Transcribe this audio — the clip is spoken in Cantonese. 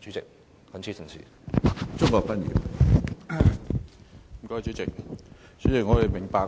主席，我們明白